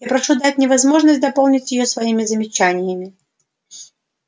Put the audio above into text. я прошу дать мне возможность дополнить её своими замечаниями